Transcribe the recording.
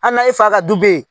Hali n'a ye fa ka du be yen